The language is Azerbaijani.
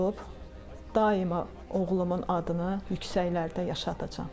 daima oğlumun adını yüksəklərdə yaşadacam.